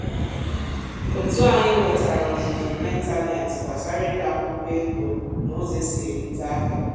otu anyị wetara ọzụzụ n’ịntanetị gbasara ide akwụkwọ ego na ụzọ esi erute ahịa